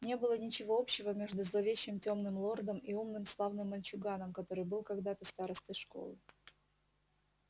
не было ничего общего между зловещим тёмным лордом и умным славным мальчуганом который был когда-то старостой школы